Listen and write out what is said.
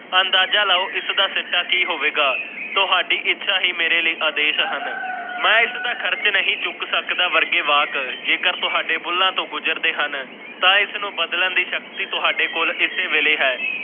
ਅੰਦਾਜ਼ਾ ਲਾਓ ਇਸ ਦਾ ਸਿਟਾ ਕੀ ਹੋਵੇਗਾ ਤੁਹਾਡੇ ਇੱਛਾ ਇਹ ਮੇਰੇ ਲਈ ਆਦੇਸ਼ ਹਨ। ਮੈਂ ਇਸ ਦਾ ਖਰਚ ਨਹੀਂ ਚੁੱਕ ਸਕਦਾ ਵਰਗੇ ਵਾਕ ਜੇਕਰ ਤੁਹਾਡੇ ਬੁੱਲ੍ਹਾਂ ਤੋਂ ਗੁਜਰਦੇ ਹਨ ਤਾਂ ਇਸ ਨੂੰ ਬਦਲਣ ਦੀ ਸ਼ਕਤੀ ਤੁਹਾਡੇ ਕੋਲ ਇਸੇ ਵੇਲੇ ਹੈ।